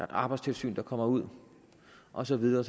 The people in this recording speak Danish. arbejdstilsyn der kommer ud og så videre